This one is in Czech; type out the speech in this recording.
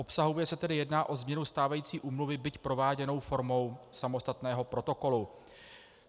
Obsahově se tedy jedná o změnu stávající úmluvy, byť prováděnou formou samostatného protokolu.